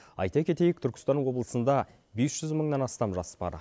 айта кетейік түркістан облысында бес жүз мыңнан астам жас бар